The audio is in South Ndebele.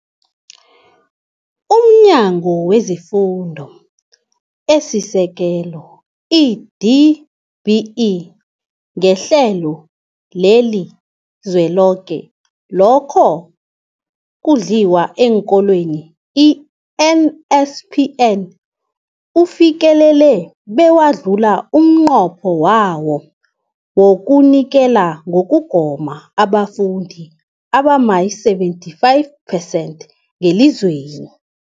UmNyango wezeFundo esiSekelo, i-DBE, ngeHlelo leliZweloke lokoNdliwa eenKolweni, i-NSNP, ufikelele bewadlula umnqopho wawo wokunikela ngokugoma ebafundini abama-75 percent ngelizweni.